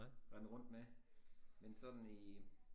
Rende rundt med men sådan i